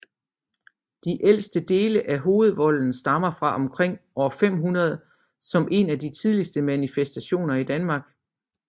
De ældste dele af Hovedvolden stammer fra omkring år 500 som en af de tidligste manifestationer af Danmark